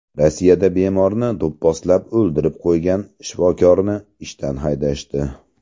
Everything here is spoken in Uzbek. Rossiyada bemorni do‘pposlab o‘ldirib qo‘ygan shifokorni ishdan haydashdi.